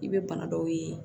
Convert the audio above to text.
I bɛ bana dɔw ye